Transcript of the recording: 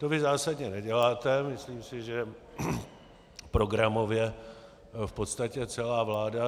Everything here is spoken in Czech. To vy zásadně neděláte, myslím si, že programově, v podstatě celá vláda.